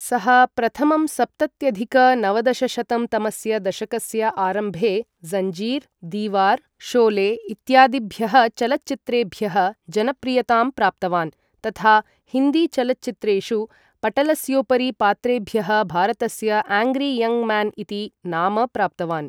सः प्रथमं सप्तत्यधिक नवदशशतं तमस्य दशकस्य आरम्भे ज़ञ्जीर्, दीवार्, शोले इत्यादिभ्यः चलच्चित्रेभ्यः जनप्रियतां प्राप्तवान्, तथा हिन्दी चलच्चित्रेषु पटलस्योपरि पात्रेभ्यः भारतस्य आङ्ग्री यङ्ग् म्यान् इति नाम प्राप्तवान्।